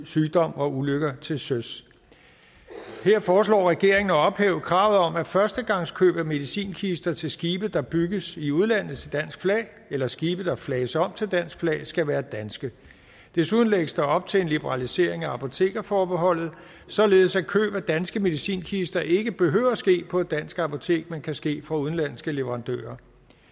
sygdom og ulykker til søs her foreslår regeringen at ophæve kravet om at førstegangskøb af medicinkister til skibe der bygges i udlandet til dansk flag eller skibe der flages om til dansk flag skal være dansk desuden lægges der op til en liberalisering af apotekerforbeholdet således at køb af danske medicinkister ikke behøver at ske på et dansk apotek men kan ske fra udenlandske leverandører